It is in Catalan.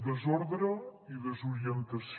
desordre i desorientació